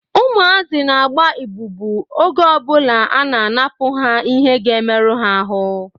Ụmụazị na-agba ịbubu oge ọbụla a na-anapụ ha ihe ga-emerụ ha ahụ